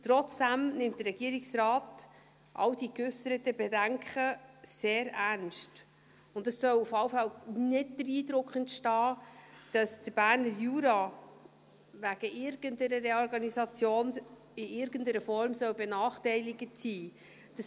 Trotzdem nimmt der Regierungsrat all diese geäusserten Bedenken sehr ernst, und es soll auf alle Fälle nicht der Eindruck entstehen, dass der Berner Jura wegen irgendeiner Reorganisation in irgendeiner Form benachteiligt sein soll.